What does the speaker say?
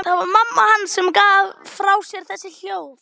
Það var mamma hans sem gaf frá sér þessi hljóð.